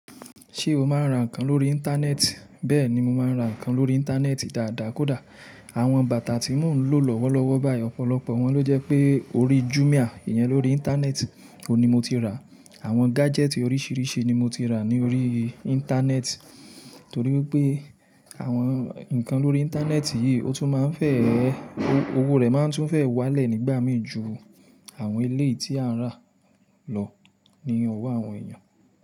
Ṣé o máa ń ra nǹkan lórí Íńtánẹ́ẹ̀tì? Bẹ́ẹ̀ ni mo máa ń ra nǹkan lórí Íńtánẹ́ẹ̀tì dáadáa kó dá. Àwọn bàtà tí mò ń lò lọ́wọ́lọ́wọ́ báyìí, ọ̀pọ̀lọpọ̀ wọn ló jẹ́ pé orí Jumia, ìyẹn lórí Íńtánẹ́ẹ̀tì oun ni mo ti rà. Àwọn gájẹ́tì oríṣiríṣi ni mo ti rà ní orí Íńtánẹ́ẹ̀tì torí pé àwọn nǹkan lórí Íńtánẹ́ẹ̀tì yìí, ó tún máa ń fẹ́, owó rẹ̀ máa ń tún fẹ́ wá lẹ̀ nígbà mìí ju àwọn eleyi tí a ń rà lọ ní owó àwọn èèyàn.